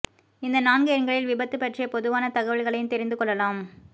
இந்த நான்கு எண்களில் விபத்து பற்றிய பொதுவான தகவல்களையும் தெரிந்து கொள்ளலாம்